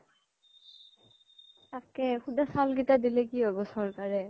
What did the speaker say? তকেই সুধা চাউল কেইতা দিলে কি হ্'ব চৰ্কাৰে